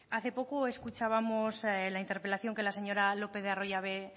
hace poco escuchábamos en la interpelación que la señora lópez de arroyabe